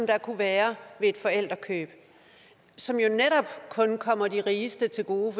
der kunne være ved forældrekøb som jo netop kun kommer de rigeste til gode